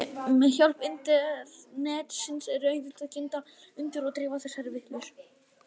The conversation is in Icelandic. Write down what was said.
Og með hjálp internetsins er auðvelt að kynda undir og dreifa þessari vitleysu.